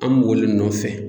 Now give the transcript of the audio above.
An olu le nɔfɛ.